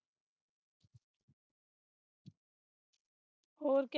ਔਰ ਕੇਆ